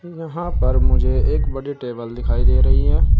यहां पर मुझे एक बड़े टेबल दिखाई दे रही हैं।